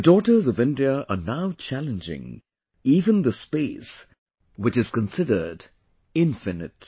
The daughters of India are now challenging even the Space which is considered infinite